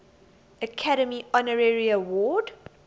academy honorary award